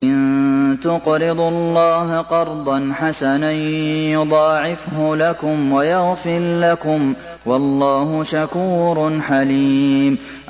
إِن تُقْرِضُوا اللَّهَ قَرْضًا حَسَنًا يُضَاعِفْهُ لَكُمْ وَيَغْفِرْ لَكُمْ ۚ وَاللَّهُ شَكُورٌ حَلِيمٌ